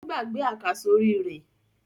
Ó gbàgbé àkàsórí rẹ̀?